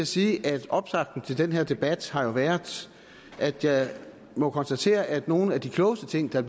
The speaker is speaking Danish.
sige at optakten til den her debat har været at jeg må konstatere at nogle af de klogeste ting der